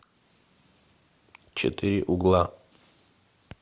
четыре угла